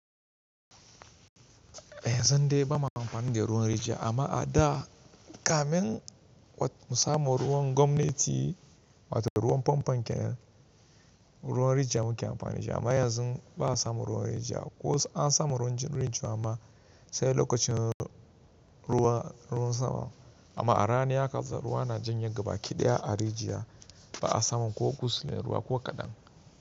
Yanzu dai ba ma amfani da ruwan rijiya amma a da kamin mu samu ruwan gwamnati wato ruwan famfo kenan, ruwan rijiya muke amfani da shi amma yanzu ba'a samun ruwan rijiya ko ansamu ruwan rijiya amma sai lokacin ruwan ruwan sama. Amma a rani haka ruwa na janye gabaki ɗaya a rijiya ba'a samu ko kusule ruwa ko kaɗan.